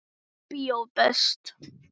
Bíó er best.